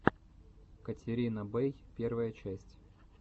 катерина бэй первая часть